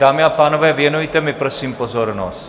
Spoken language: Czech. Dámy a pánové, věnujte mi prosím pozornost.